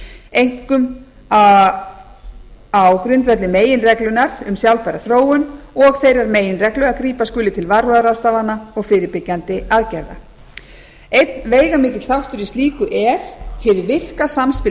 einkum á grundvelli meginreglunnar um sjálfbæra þróun og þeirrar meginreglu að grípa skuli til varúðarráðstafana og fyrirbyggjandi aðferða einn veigamikill þáttur í slíku er hið virka samspil